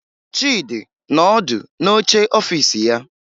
Chịdị nọ ọdụ n'oche ọfiisi ya